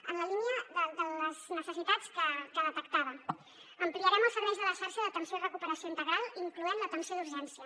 en la línia de les necessitats que detectava ampliarem els serveis de la xarxa d’atenció i recuperació integral inclosa l’atenció d’urgència